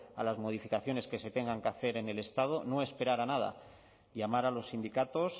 a las modificaciones que se tengan que hacer en el estado no esperar a nada llamar a los sindicatos